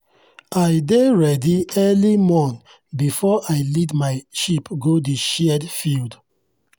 i dey ready early morn before i lead my my sheep go the shared field.